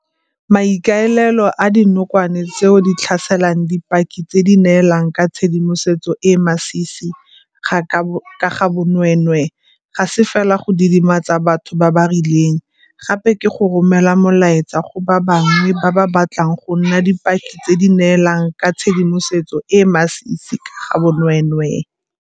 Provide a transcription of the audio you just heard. Maikaelelo a dinokwane tseo di tlhaselang di dipaki tse di neelang ka tshedimosetso e e masisi ka ga bonweenwee ga se fela go didimatsa batho ba ba rileng, gape ke go romela molaetsa go ba bangwe ba ba batlang go nna dipaki tse di neelang ka tshedimosetso e e masisi ka ga bonweenwee.